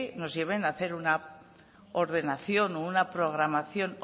nos lleven a hacer a ordenación o una programación